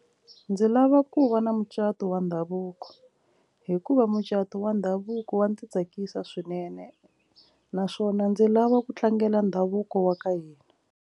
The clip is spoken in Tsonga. Ndzi lava ku va na mucato wa ndhavuko hikuva mucato wa ndhavuko wa ndzi tsakisa swinene naswona ndzi lava ku tlangela ndhavuko wa ka hina.